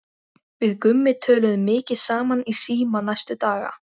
Við Gummi töluðum mikið saman í síma næstu daga.